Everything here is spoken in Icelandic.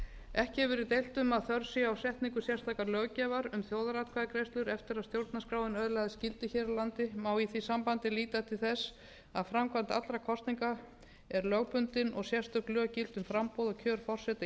ekki hefur verið deilt um að þörf sé á setningu sérstakrar löggjafar um þjóðaratkvæðagreiðslur eftir að stjórnarskráin öðlaðist gildi hér á landi má í því sambandi líta til þess að framkvæmd allra kosninga er lögbundin og sérstök lög gilda um framboð og kjör forseta íslands um kosningar